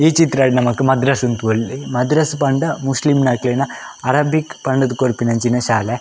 ಈ ಚಿತ್ರಡ್ ನಮಕ್ ಮದ್ರಸ್ನ್ ತೂವೊಲಿ ಮದ್ರಸ್ ಪಂಡ ಮುಸ್ಲಿಮ್ನಕ್ಲೆನ ಅರೇಬಿಕ್ ಪಂಡುದ್ ಕೊರ್ಪಿನಂಚಿನ ಶಾಲೆ.